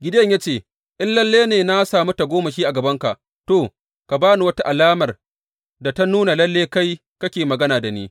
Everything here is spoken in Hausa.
Gideyon ya ce, In lalle na sami tagomashi a gabanka, to, ka ba ni wata alamar da ta nuna lalle kai kake magana da ni.